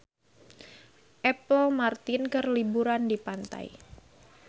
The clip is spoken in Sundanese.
Apple Martin keur liburan di pantai